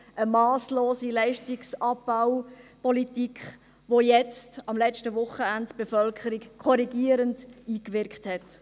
Eine masslose Leistungsabbaupolitik, auf die jetzt – am letzten Wochenende – die Bevölkerung korrigierend eingewirkt hat.